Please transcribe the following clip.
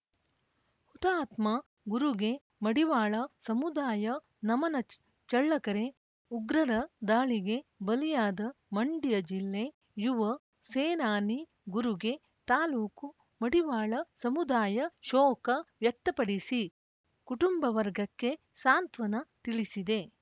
ಹುತಾತ್ಮ ಗುರುಗೆ ಮಡಿವಾಳ ಸಮುದಾಯ ನಮನ ಚಳ್ಳಕೆರೆ ಉಗ್ರರ ದಾಳಿಗೆ ಬಲಿಯಾದ ಮಂಡ್ಯ ಜಿಲ್ಲೆ ಯುವ ಸೇನಾನಿ ಗುರುಗೆ ತಾಲೂಕು ಮಡಿವಾಳ ಸಮುದಾಯ ಶೋಕ ವ್ಯಕ್ತಪಡಿಸಿ ಕುಟುಂಬ ವರ್ಗಕ್ಕೆ ಸಾಂತ್ವನ ತಿಳಿಸಿದೆ